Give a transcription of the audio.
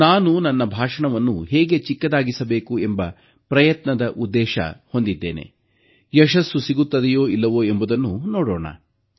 ನನ್ನ ಪ್ರಯತ್ನದಲ್ಲಿ ಯಶಸ್ಸು ಸಿಗುತ್ತದೆಯೋ ಇಲ್ಲವೋ ಎಂಬುದನ್ನು ನೋಡೋಣ